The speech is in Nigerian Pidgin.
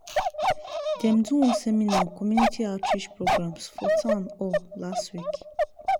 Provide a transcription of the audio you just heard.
dem do one seminar on community outreach programs for town hall last week.